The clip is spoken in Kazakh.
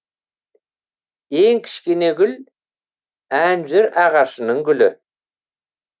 ең кішкене гүл әнжүр ағашының гүлі